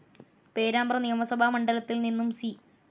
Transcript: പേരാമ്പ്ര നിയമസഭാ മണ്ഡലത്തിൽ നിന്നും സി.